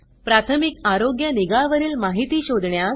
प्राथमिक आरोग्य निगा वरील माहिती शोधण्यास